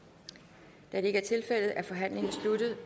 er det ikke er tilfældet er forhandlingen sluttet